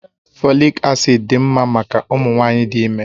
Fòlị́k acị́d dị mma maka ụmụ nwanyị dị ime